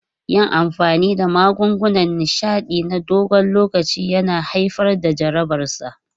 Yin amfani da magungunan nishaɗi na dogon lokaci ya haifar da jarabarsa.